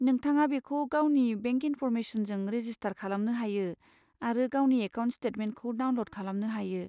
नोंथाङा बेखौ गावनि बेंक इनफरमेसनजों रेजिस्टार खालामनो हायो आरो गावनि एकाउन्ट स्टेटमेन्टखौ डाउनल'ड खालामनो हायो।